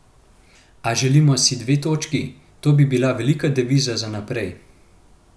A želimo si dve točki, to bi bila velika deviza za naprej.